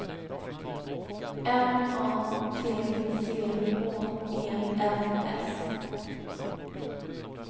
M A T C H E N S